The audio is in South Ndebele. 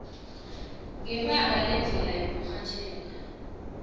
ngebanga lendlela yokurhatjheka